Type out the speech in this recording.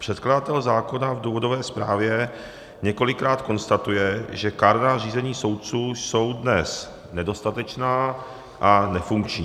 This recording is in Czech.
Předkladatel zákona v důvodové zprávě několikrát konstatuje, že kárná řízení soudců jsou dnes nedostatečná a nefunkční.